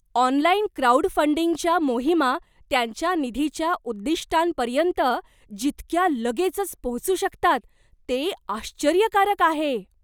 Online क्राउडफंडिंगच्या मोहिमा त्यांच्या निधीच्या उद्दिष्टांपर्यंत जितक्या लगेचच पोहोचू शकतात ते आश्चर्यकारक आहे.